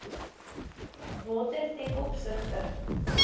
water ten opsigte